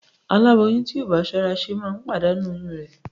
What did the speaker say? Aláboyún tí kò ṣọ́ra ṣe máa ń pàdánù oyún rẹ̀